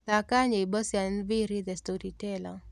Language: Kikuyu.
thaka nyĩmbo cĩa nviiri the storyteller